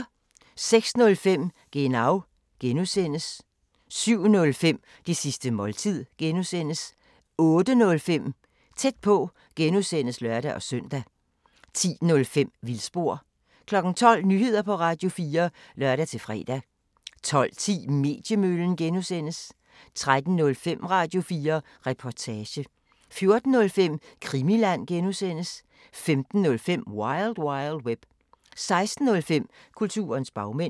06:05: Genau (G) 07:05: Det sidste måltid (G) 08:05: Tæt på (G) (lør-søn) 10:05: Vildspor 12:00: Nyheder på Radio4 (lør-fre) 12:10: Mediemøllen (G) 13:05: Radio4 Reportage 14:05: Krimiland (G) 15:05: Wild Wild Web 16:05: Kulturens bagmænd